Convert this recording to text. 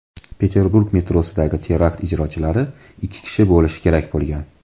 Peterburg metrosidagi terakt ijrochilari ikki kishi bo‘lishi kerak bo‘lgan.